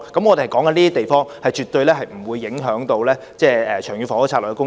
我們是說這些地方，絕對不會影響《長遠房屋策略》的房屋供應。